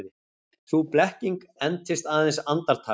Sú blekking entist aðeins andartak.